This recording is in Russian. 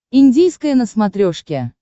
индийское на смотрешке